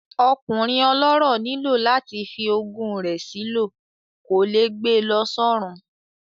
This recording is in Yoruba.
Ọkùnrin ọlọ́rọ̀ nílò láti fi ogún rẹ̀ sí lọ, kò lè gbe lọ sọ́run